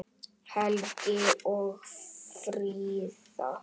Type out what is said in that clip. Helgi og Fríða.